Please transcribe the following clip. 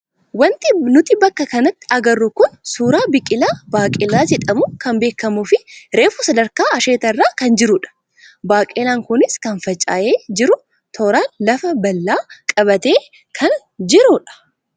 Wanti nuti bakka kanatti agarru kun suuraa biqilaa baaqelaa jedhamuu kan beekamuu fi reefu sadarkaa asheetaa irra kan jirudha. Baaqelaan kunis kan faca'ee jiru tooraan lafa bal'aa qabatee kan jirudha.